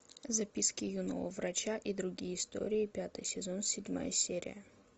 записки юного врача и другие истории пятый сезон седьмая серия